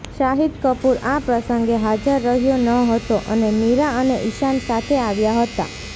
શાહિદ કપૂર આ પ્રસંગે હાજર રહ્યો નહતો અને મીરા અને ઈશાન સાથે આવ્યા હતા